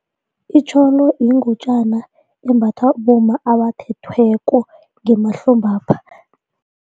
Itjholo yingutjana embathwa bomma abathethweko ngemahlombapha.